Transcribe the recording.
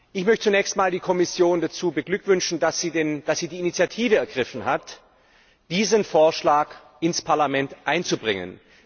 Ich möchte zunächst einmal die Kommission dazu beglückwünschen, dass sie die Initiative ergriffen hat, diesen Vorschlag ins Parlament einzubringen.